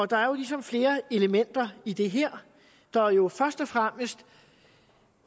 der er jo ligesom flere elementer i det her der er jo først og fremmest